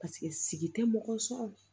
Paseke sigi tɛ mɔgɔ sɔrɔ